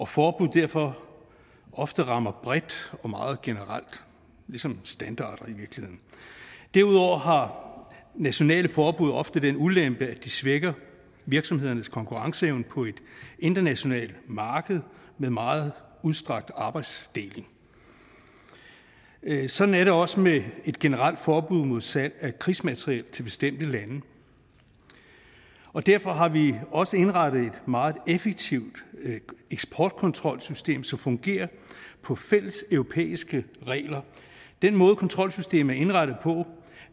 forbud derfor ofte rammer bredt og meget generelt ligesom standarder i virkeligheden derudover har nationale forbud ofte den ulempe at de svækker virksomhedernes konkurrenceevne på et internationalt marked med meget udstrakt arbejdsdeling sådan er det også med et generelt forbud mod salg af krigsmateriel til bestemte lande og derfor har vi også indrettet et meget effektivt eksportkontrolsystem som fungerer på fælleseuropæiske regler den måde kontrolsystemet er indrettet på